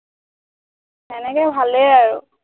এনেকে ভালেই আৰু